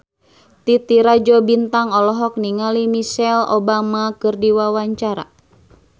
Titi Rajo Bintang olohok ningali Michelle Obama keur diwawancara